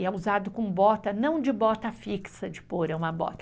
E é usado com bota, não de bota fixa de pôr, é uma bota.